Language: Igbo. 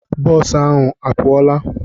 Bọọsụ ahụ a pụọla?